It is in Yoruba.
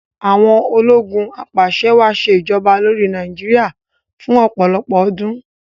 Àwon ológun abàse-wàá sè'joba lórí Naíjiria fún òpòlọpò ọdún